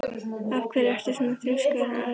Af hverju ertu svona þrjóskur, Aríaðna?